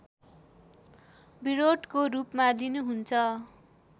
विरोधको रूपमा लिनुहुन्छ